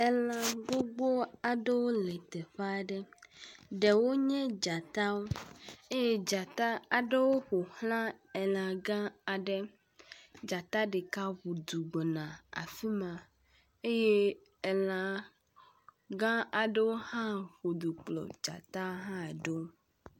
Elã gbogbó aɖewo le teƒeaɖe ɖewo nye dzatawo eye dzata aɖewo ƒoxlã elã gã aɖe dzata ɖeka ʋùdu gbɔna afima eye elã gã aɖewo hã ʋudu kplɔ dzata la ɖó